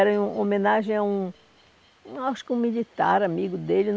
Era em homenagem a um... Acho que um militar amigo dele.